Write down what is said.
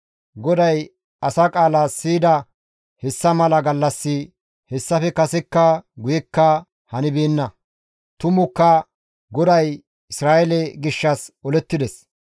GODAY asa qaala siyida hessa mala gallassi hessafe kasekka guyekka hanibeenna. Tumukka GODAY Isra7eele gishshas olettides.